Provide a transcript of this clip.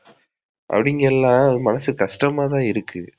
அவுங்கலாம் மனசு கஷ்டமா தான் இருக்கு.